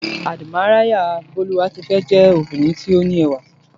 Àdìmáyárà Bólúwatifẹ́ jé obìnrin tó ní ẹwà